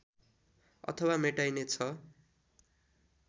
अथवा मेटाइने छ